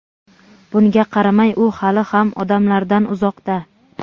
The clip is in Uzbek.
Bunga qaramay u hali ham odamlardan uzoqda.